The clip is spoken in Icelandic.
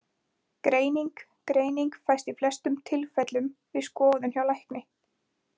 Greining Greining fæst í flestum tilfellum við skoðun hjá lækni.